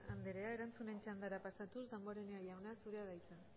anderea erantzunen txandara pasatuz damborenea jauna zurea da hitza